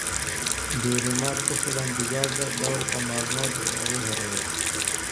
Diirimaad ku filan digaagga dhawrka maalmood ee ugu horreeya.